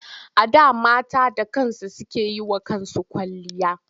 A da mata da kansu suke yi wa kansu kwalliya.